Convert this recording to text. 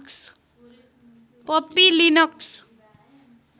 Puppy Linux